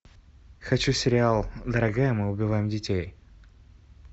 хочу сериал дорогая мы убиваем детей